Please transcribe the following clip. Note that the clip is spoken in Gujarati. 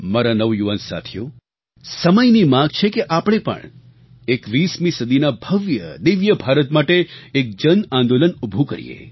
મારા નવયુવાન સાથીઓ સમયની માગ છે કે આપણે પણ 21મી સદીના ભવ્યદિવ્ય ભારત માટે એક જન આંદોલન ઊભું કરીએ